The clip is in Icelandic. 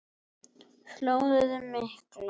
Flóðið mikla